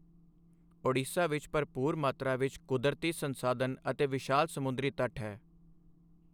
ਓਡੀਸ਼ਾ ਵਿੱਚ ਭਰਪੂਰ ਮਾਤਰਾ ਵਿੱਚ ਕੁਦਰਤੀ ਸੰਸਾਧਨ ਅਤੇ ਵਿਸ਼ਾਲ ਸਮੁੰਦਰੀ ਤਟ ਹੈ।